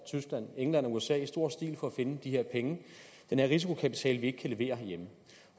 tyskland england og usa i stor stil for at finde de her penge den her risikokapital vi ikke kan levere herhjemme